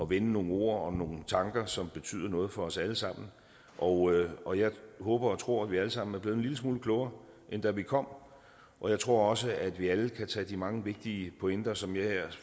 vende nogle ord og nogle tanker som betyder noget for os alle sammen og og jeg håber og tror at vi alle sammen er blevet en lille smule klogere end da vi kom og jeg tror også at vi alle kan tage de mange vigtige pointer som jeg